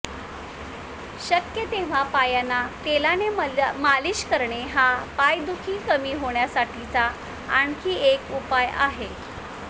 शक्य तेव्हा पायांना तेलाने मालिश करणे हा पायदुखी कमी होण्यासाठीचा आणखी एक उपाय आहे